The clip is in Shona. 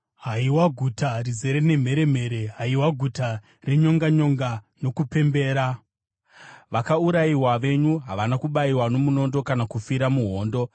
Haiwa guta rizere nemheremhere, haiwa guta renyonganyonga nokupembera? Vakaurayiwa venyu havana kubayiwa nomunondo, kana kufira muhondo.